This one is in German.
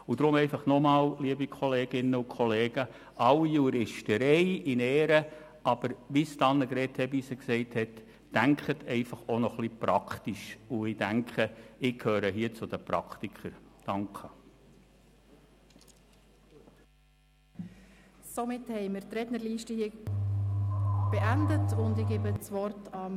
Deshalb noch einmal, liebe Kolleginnen und Kollegen, alle Juristerei in Ehren, aber denken Sie einfach auch noch etwas praktisch, wie Annegret Hebeisen gesagt hat.